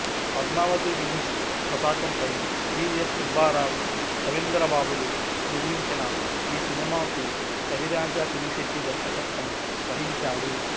Padmavati films పతాకంపై V S Subbarao రవీంద్రబాబులు నిర్మించిన ఈ సినిమాకు రవిరాజా పినిశెట్టి దర్శకత్వం వహించాడు